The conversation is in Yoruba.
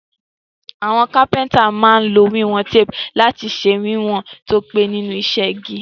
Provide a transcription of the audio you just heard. Àwon carpenter má n lo ìwón tape lati se wíwòn to pé nínú isẹ́ igi